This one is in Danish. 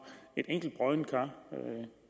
et enkelt broddent kar